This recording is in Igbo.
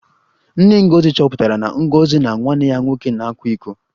Nne Ngozi chọpụtara na Ngozi na nwanne ya nwoke na-akwa iko